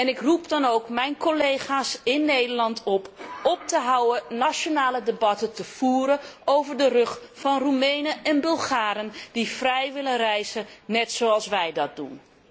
Ik roep dan ook mijn collega's in Nederland op om op te houden nationale debatten te voeren over de rug van Roemenen en Bulgaren die vrij willen reizen, net zoals wij dat doen.